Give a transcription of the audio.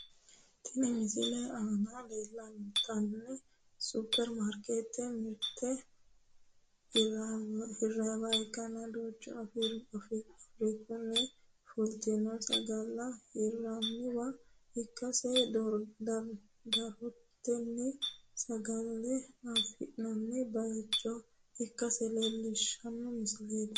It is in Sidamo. Tinni misilete aanna la'neemoti superi maarikeetete mirte hiraniwa ikanna duucha faafirikunni fultino sagale hiraniwa ikasinna doorantino sagale afi'nanni bayicho ikasi leelishano misileeti.